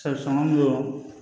sɔngɔ don